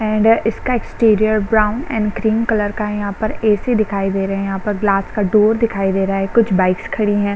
And इसका exterior brown and green colour का है यहाँ पर ऐसी दिखाई दे रहे है यहाँ पर गिलास का डोर दिखाई दे रहा है कुछ बाइक्स खड़ी है।